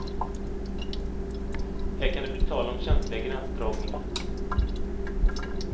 Här kan det bli tal om känsliga gränsdragningar.